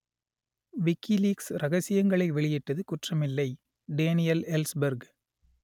WikiLeaks ரகசியங்களை வெளியிட்டது குற்றமில்லை டேனியல் எல்ஸ்பெர்க்